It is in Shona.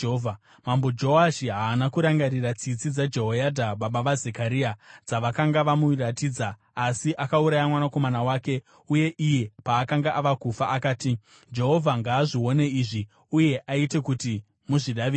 Mambo Joashi haana kurangarira tsitsi dzaJehoyadha baba vaZekaria dzavakanga vamuratidza, asi akauraya mwanakomana wake, uye iye paakanga ava kufa akati, “Jehovha ngaazvione izvi uye aite kuti muzvidavirire.”